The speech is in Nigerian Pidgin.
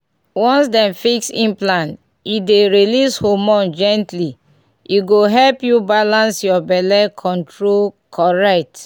once dem fix implant e dey release hormone gently — e go help you balance your belle control correct.